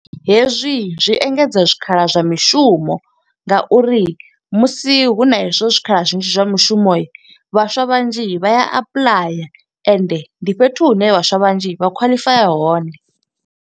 Hezwi zwi engedza zwikhala zwa mishumo nga uri musi hu na hezwo zwikhala zwinzhi zwa mishumo, vhaswa vhanzhi vha ya apuḽaya ende ndi fhethu hune vhaswa vhanzhi vha khwaḽifaya hone.